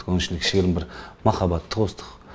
соның ішіне кішігірім бір махаббатты қостық